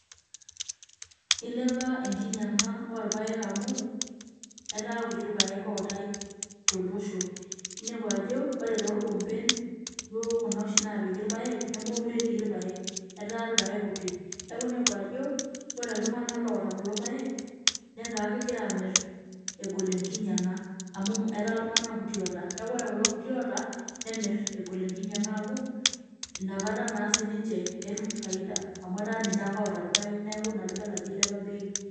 Ilepa enkinyianga oorpaek amu, etaa kutik irpaek ootae tolosho. Iniepu ajo wore toorkompen, duo kuna oshi naapiki irpaek, nemekure etii irpaek, etaa irpaek kutik. Neeku iniepu ajo, wore iltunganak oata kulo paek, netaa kekira aamirr egol enkinyianga. Amu etaa iltunganak kutik oata. Neeku wore kulo kutik oata, nemirr egol enkinyianga amuu, inakata naa sininche etum faida amu etaa ninche ake oata irpaek neeku Ina piidol ajo ilepa bei.